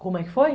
Como é que foi?